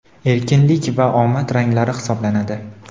erkinlik va omad ranglari hisoblanadi.